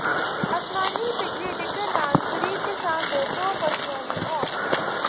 ਅਸਮਾਨੀ ਬਿਜਲੀ ਡਿੱਗਣ ਨਾਲ ਗ਼ਰੀਬ ਕਿਸਾਨ ਦੇ ਦੋ ਪਸ਼ੂਆਂ ਦੀ ਮੌਤ